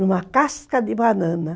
Numa casca de banana.